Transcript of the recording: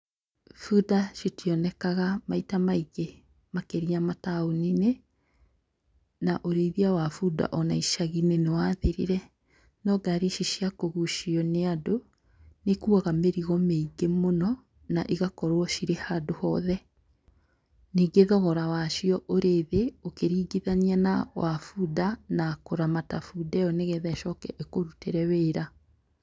Bunda itionekaga maita maingĩ makĩria mataũni-inĩ na ũrĩithia wa bunda ona icaginĩ nĩwathirire. No ngari ici cia kũgucio nĩandũ, nĩikuaga mĩrigo mĩingĩ mũno na igakorwo cirĩ handũ hothe. Nyingĩ, thogora wacio ũrĩthĩ ũkĩringithania na wabunda na kũramata bunda ĩo nĩgetha ĩcoke ĩkũrutĩre wĩra.